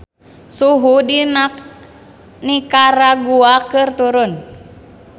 Suhu di Nikaragua keur turun